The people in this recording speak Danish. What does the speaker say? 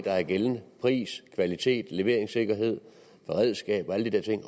er gældende pris kvalitet leveringssikkerhed beredskab og alle de der ting